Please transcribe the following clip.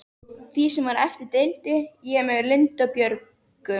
Því sem var eftir deildi ég með Lindu og Björgu.